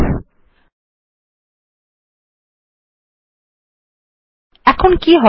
আমরা দেখছি যদি একটি ফাইল কে অন্য আগের থেকে বিদ্যমান ফাইল এ কপি করা হয় তাহলে বিদ্যমান ফাইল ওভাররাইটেন হবে